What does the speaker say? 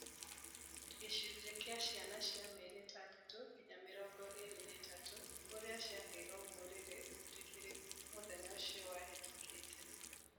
Gĩcunjĩ kĩa ciana cia mĩeri ĩtandatũ nginya mĩrongo ĩĩrĩ na ĩtatũ iria ciaheirwo mũrĩĩre mũĩtĩkĩrĩku mũthenya ũcio wahetũkĩte